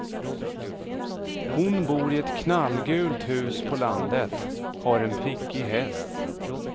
Hon bor i ett knallgult hus på landet, har en prickig häst.